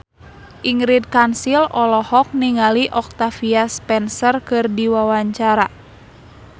Ingrid Kansil olohok ningali Octavia Spencer keur diwawancara